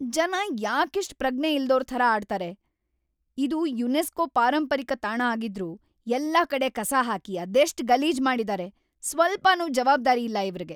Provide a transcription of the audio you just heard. ಜನ ಯಾಕಿಷ್ಟ್‌ ಪ್ರಜ್ಞೆ ಇಲ್ದೋರ್‌ ಥರ ಆಡ್ತಾರೆ? ಇದು ಯುನೆಸ್ಕೋ ಪಾರಂಪರಿಕ ತಾಣ ಆಗಿದ್ರೂ ಎಲ್ಲಾ ಕಡೆ ಕಸ ಹಾಕಿ ಅದೆಷ್ಟ್ ಗಲೀಜ್‌ ಮಾಡಿದಾರೆ. ಸ್ವಲ್ಪನೂ ಜವಾಬ್ದಾರಿ ಇಲ್ಲ ಇವ್ರಿಗೆ.